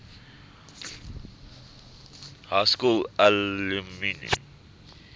high school alumni